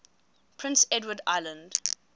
prince edward island